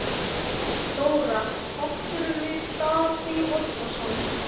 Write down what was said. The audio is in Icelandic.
Þóra: Áttirðu við Davíð Oddsson?